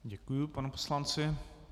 Děkuji panu poslanci.